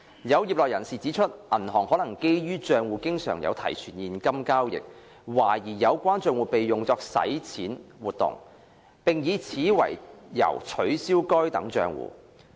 有業內人士指出，銀行可基於帳戶經常有提存現金交易，懷疑有關帳戶被用作洗錢活動，並以此為由取消該等帳戶。